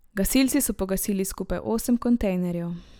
Gasilci so pogasili skupaj osem kontejnerjev.